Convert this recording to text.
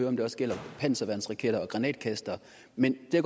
om det også gælder for panserværnsraketter og granatkastere men det